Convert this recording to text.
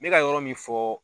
Me ka yɔrɔ min fɔ